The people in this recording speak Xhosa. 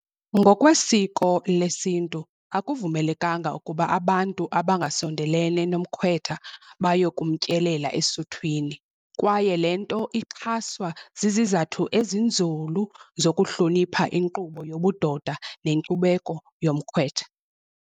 Ngokwesiko lesintu akuvumelekanga ukuba abantu abangasondelene nomkhwetha bayokumtyelela esuthwini, kwaye le nto ixhaswa zizathu ezinzulu zokuhlonipha inkqubo yobudoda nenkcubeko yomkhwetha.